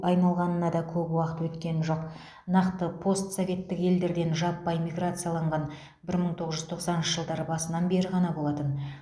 айналғанына да көп уақыт өткен жоқ нақты постсоветтік елдерден жаппай миграциялаған бір мың тоғыз жүз тоқсаныншы жылдар басынан бері ғана болатын